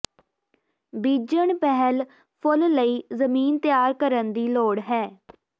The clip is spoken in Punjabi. ਬੀਜਣ ਪਿਹਲ ਫੁੱਲ ਲਈ ਜ਼ਮੀਨ ਤਿਆਰ ਕਰਨ ਦੀ ਲੋੜ ਹੈ